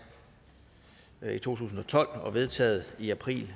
i to tusind og tolv og vedtaget i april